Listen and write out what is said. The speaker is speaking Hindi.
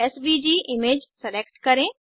एसवीजी इमेज सेलेक्ट करें